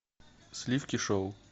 сливки шоу